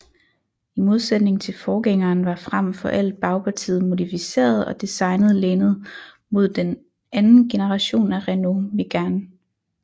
I modsætning til forgængeren var frem for alt bagpartiet modificeret og designet lænet mod anden generation af Renault Mégane